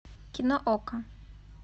кино окко